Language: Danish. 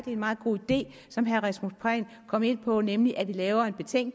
en meget god idé som herre rasmus prehn kom ind på nemlig at vi laver